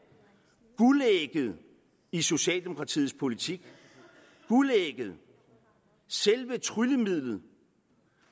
guldægget i socialdemokratiets politik guldægget selve tryllemidlet